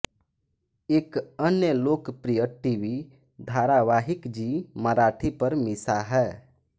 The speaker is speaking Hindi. एक अन्य लोकप्रिय टीवी धारावाहिक जी मराठी पर मिशा है